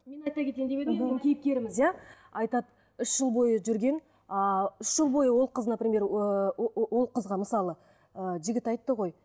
мен айта кетейін деп едім бүгін кейіпкеріміз иә айтады үш жыл бойы жүрген ыыы үш жыл бойы ол қыз например ыыы ол қызға мысалы ы жігіт айтты ғой